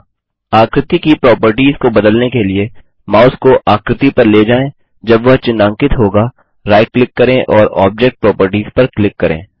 आकृति की प्रोपर्टीज को बदलने के लिए माउस को आकृति पर ले जाएँ जब वह चिन्हांकित होगा राइट क्लिक करें और ऑब्जेक्ट प्रॉपर्टीज पर क्लिक करें